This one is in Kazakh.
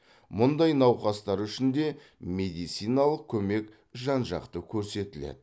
мұндай науқастар үшін де медициналық көмек жан жақты көрсетіледі